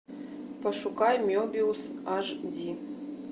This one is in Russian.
пошукай мебиус аш ди